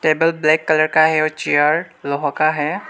Table black colour का है और चेयर लोहा का है।